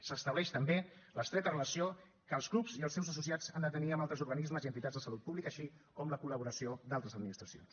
s’estableix també l’estreta relació que els clubs i els seus associats han de tenir amb altres organismes i entitats de salut pública així com la col·laboració d’altres administracions